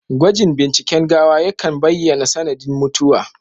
Gwajin binciken gawa yakan baiyana sanadin mutuwa